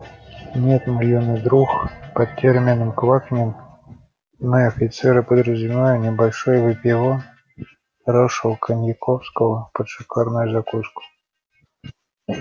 нет мой юный друг под термином квакнем мы офицеры подразумеваем небольшой выпивон хорошего коньяковского под шикарную закуску